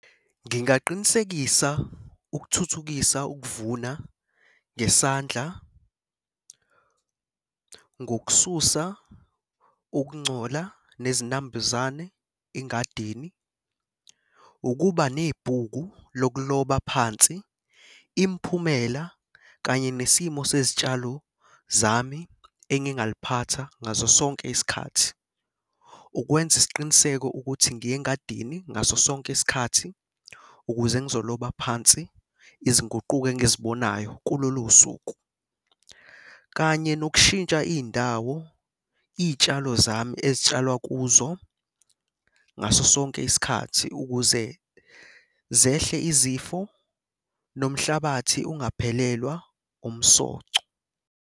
Ngingaqinisekisa ukuthuthukisa ukuvuna ngesandla ngokususa ukungcola nezinambuzane engadini. Ukuba nebhuku lokuloba phansi imiphumela kanye nesimo sezitshalo zami engingaliphatha ngaso sonke isikhathi. Ukwenza isiqiniseko ukuthi ngiya engadini ngaso sonke isikhathi ukuze ngizoloba phansi izinguquko engizibonayo kulolu suku, kanye nokushintsha iy'ndawo iy'tshalo zami ezitshalwa kuzo ngaso sonke isikhathi ukuze zehle izifo nomhlabathi ungaphelelwa umsoco.